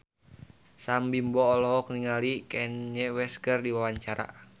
Sam Bimbo olohok ningali Kanye West keur diwawancara